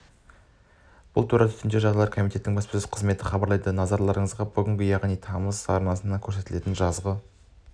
бұл туралы төтенше жағдайлар комитетінің баспасөз қызметі хабарлайды назарларыңызға бүгін яғни тамыз хабар арнасынан көрсетілетін жазғы